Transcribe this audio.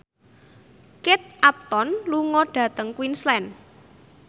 Kate Upton lunga dhateng Queensland